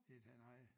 Et halvt nej